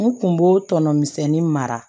N kun b'o tɔnɔ misɛnnin mara